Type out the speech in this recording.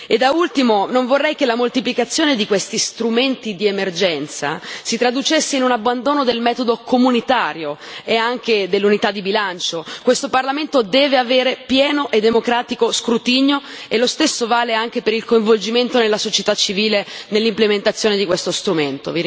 Da ultimo, non vorrei che la moltiplicazione di questi strumenti di emergenza si traducesse in un abbandono del metodo comunitario e anche dell'unità di bilancio. Questo Parlamento deve avere pieno e democratico scrutinio e lo stesso vale anche per il coinvolgimento della società civile nell'implementazione di questo strumento.